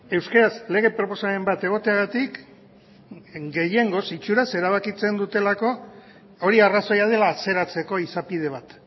euskaraz lege proposamen bat egoteagatik gehiengoz itxuraz erabakitzen dutelako hori arrazoia dela atzeratzeko izapide bat